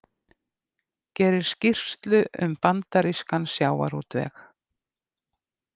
Gerir skýrslu um bandarískan sjávarútveg